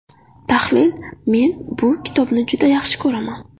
Tahlil Men bu kitobni juda yaxshi ko‘raman.